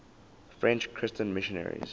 french christian missionaries